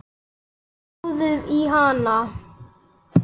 Hjólið í hana.